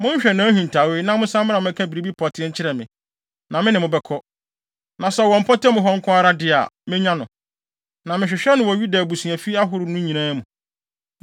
Monhwehwɛ nʼahintawee, na monsan mmra mmɛka biribi pɔtee nkyerɛ me. Na me ne mo bɛkɔ. Na sɛ ɔwɔ mpɔtam hɔ nko ara de a, menya no, na mehwehwɛ no wɔ Yuda abusuafi ahorow no nyinaa mu.”